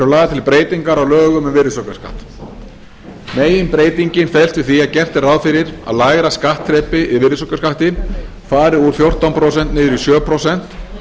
lagðar til breytingar á lögum um virðisaukaskatt meginbreytingin felst í því að gert er ráð fyrir að lægra skattþrepið í virðisaukaskatti fari úr fjórtán prósent niður í sjö prósent